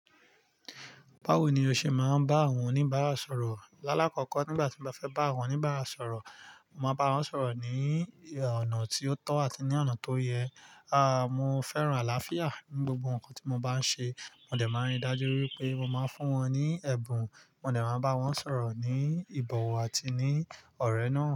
Báwo ni o ṣe máa ń bá àwọn oníbàárà sọ̀rọ̀? Lálákọkọ nígbà tí mo fẹ́ bá àwọn oníbàárà sọ̀rọ̀, mo máa bá wọn sọ̀rọ̀ ní ọ̀nà tí ó tọ́ àti ní ọ̀nà tó yẹ. Aà, mo fẹ́ràn àlàáfíà ní gbogbo nnkan tí mo bá ń ṣe. Mo dẹ̀ máa ń rí dájú wípé mo máa ń fún wọn ní ẹ̀bùn, mo dẹ̀ máa bá wọn sọ̀rọ̀ ní ìbọ̀wọ̀ àti ní ọ̀rẹ́ náà.